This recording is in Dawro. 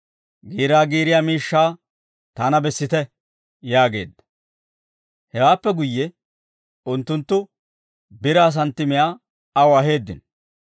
Giiraa giiriyaa miishshaa taana bessite» yaageedda. Hewaappe guyye unttunttu biraa santtimiyaa aw aheeddino.